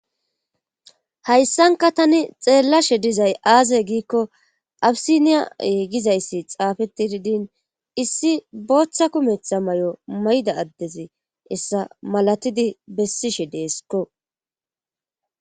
Hayssanka tani xeellashe dizay aaze giikko abisiniya gizayssi xaafetiidin issi booththa kumetha may7o mayda addezi hessa malatidi bessishe deesikko